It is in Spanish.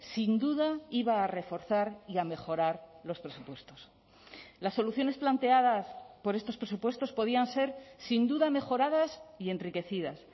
sin duda iba a reforzar y a mejorar los presupuestos las soluciones planteadas por estos presupuestos podían ser sin duda mejoradas y enriquecidas